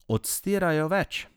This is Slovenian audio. Odstirajo več.